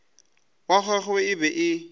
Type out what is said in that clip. wa gagwe e be e